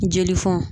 Jelifɛnw